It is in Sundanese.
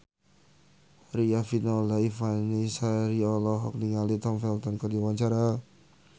Riafinola Ifani Sari olohok ningali Tom Felton keur diwawancara